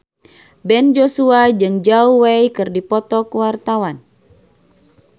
Ben Joshua jeung Zhao Wei keur dipoto ku wartawan